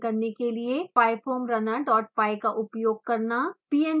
solver को run करने के लिए pyfoamrunnerpy का उपयोग करना